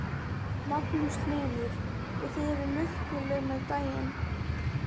Magnús Hlynur: Og þið eruð lukkuleg með daginn?